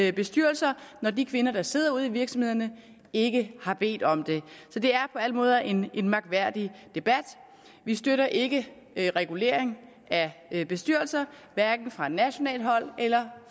i bestyrelser når de kvinder der sidder ude i virksomhederne ikke har bedt om det så det er på alle måder en en mærkværdig debat vi støtter ikke regulering af bestyrelser hverken fra nationalt hold eller